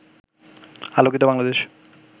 আলোকিত বাংলাদেশ